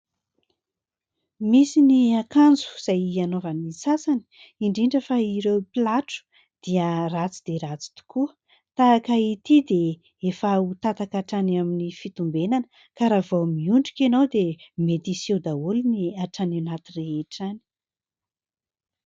Misy ny akanjo izay anaovan'ny sasany indrindra fa ireo mpilatro dia ratsy dia ratsy tokoa tahaka ity dia efa ho tataka hatrany amin'ny fitombenana ka raha vao miondrika ianao dia mety hiseho daholo ny hatrany anaty rehetra any.